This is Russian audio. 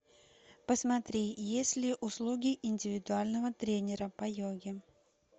посмотри есть ли услуги индивидуального тренера по йоге